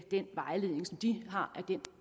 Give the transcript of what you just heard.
i den vejledning som de har